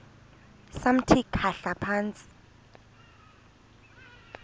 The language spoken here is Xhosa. samthi khahla phantsi